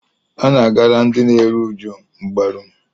A na-agara ndị na-eru uju mgbaru.